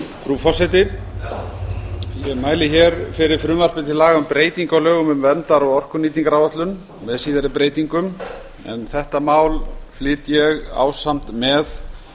frú forseti ég mæli fyrir frumvarpi til laga um breytingu á lögum um verndar og orkunýtingaráætlun með síðari breytingum en þetta mál flyt ég ásamt með